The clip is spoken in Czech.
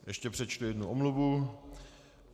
Ještě přečtu jednu omluvu.